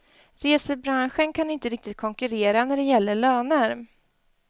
Resebranschen kan inte riktigt konkurrera när det gäller löner.